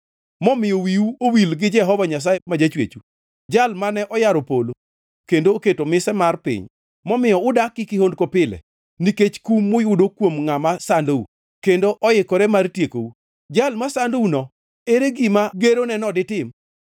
momiyo wiwu owil gi Jehova Nyasaye ma Jachwechu, Jal mane oyaro polo kendo oketo mise mar piny, momiyo udak gi kihondko pile, nikech kum muyudo kuom ngʼama sandou, kendo oikore mar tiekou. Jal masandouno, ere gima geroneno ditim?